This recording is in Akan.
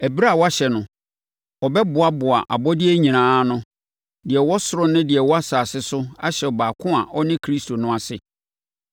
ɛberɛ a wahyɛ no, ɔbɛboaboa abɔdeɛ nyinaa ano, deɛ ɛwɔ ɔsoro ne deɛ ɛwɔ asase so ahyɛ ɔbaako a ɔne Kristo no ase.